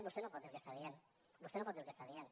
vostè no pot dir el que està dient vostè no pot dir el que està dient